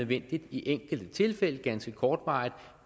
det i enkelte tilfælde ganske kortvarigt